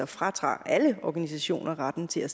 fratager alle organisationer retten til at